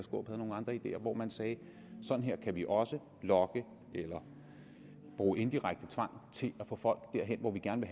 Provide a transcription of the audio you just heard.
nogle andre ideer hvor man sagde at sådan her kan vi også lokke eller bruge indirekte tvang til at få folk derhen hvor vi gerne